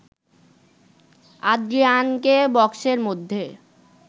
আদ্রিয়ানকে বক্সের মধ্যে